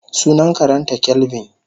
Sunan karenta kelvin.